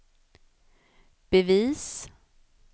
bevis